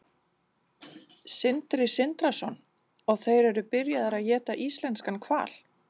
Sindri Sindrason: Og þeir eru byrjaðir að éta íslenskan hval?